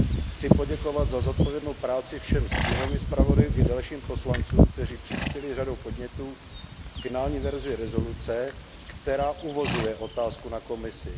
Chci poděkovat za zodpovědnou práci všem stínovým zpravodajům i dalším poslancům, kteří přispěli řadou podnětů k finální verzi rezoluce, která uvozuje otázku na Komisi.